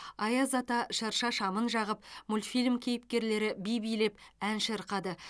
аяз ата шырша шамын жағып мультфильм кейіпкерлері би билеп ән шырқады